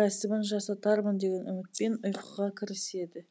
рәсімін жасатармын деген үмітпен ұйқыға кіріседі